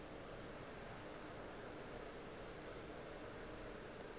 o ile a re ge